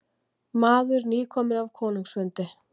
Maður nýkominn af konungsfundi.